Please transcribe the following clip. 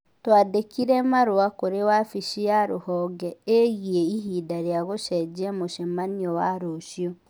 Twandĩkĩre marũa kũrĩ wabici ya rũhonge ĩgiĩ ihinda rĩa gũcenjia mũcemanio wa rũciũ